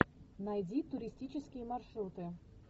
найди туристические маршруты